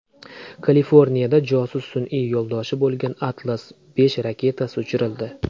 Kaliforniyada josus sun’iy yo‘ldoshi bo‘lgan Atlas V raketasi uchirildi .